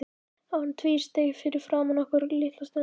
Hann tvísteig fyrir framan okkur litla stund.